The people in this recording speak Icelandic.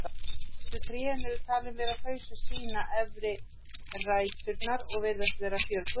Fallegustu trén eru talin vera þau sem sýna efri ræturnar og virðast vera fjörgömul.